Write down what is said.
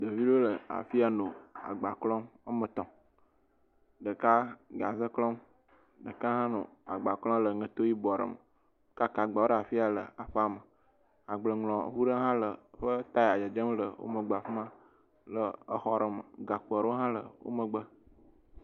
Ɖeviwo nɔ afi ya le agba klɔm. Woame tɔ̃. Ɖeka gaze klɔm. Ɖeka hã nɔ agba klɔm le ŋɛto yibɔ aɖe me. Wo kaka agbawo ɖe afi ya le aƒeame. Agbleŋlɔŋu ɖe hã le ƒe taya le dzedzem le wo megbe afi ma le exɔ ɖe me. gakpo aɖewo hã le wo megbe.